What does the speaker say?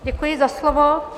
Děkuji za slovo.